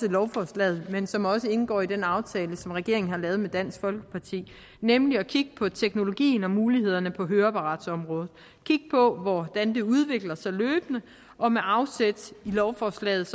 lovforslaget men som også indgår i den aftale som regeringen har lavet med dansk folkeparti nemlig at kigge på teknologien og mulighederne på høreapparatområdet kigge på hvordan det udvikler sig løbende og med afsæt i lovforslaget